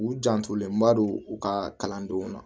U jantolenba don u ka kalandenw na